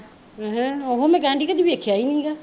ਅਹੱ ਉਹੋ ਮੈਂ ਕਹਿਣ ਡਈ ਵੀ ਕਦੀ ਦੇਖਿਆ ਨੀ ਹੈਗਾ